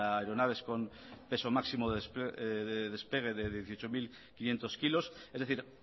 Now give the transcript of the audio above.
aeronaves con peso máximo de despegue de dieciocho mil quinientos kilos es decir